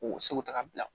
K'u seko ta ka bila